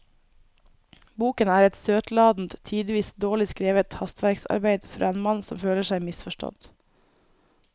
Boken er et søtladent, tidvis dårlig skrevet hastverksarbeid fra en mann som føler seg misforstått.